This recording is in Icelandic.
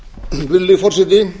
virðulegi forseti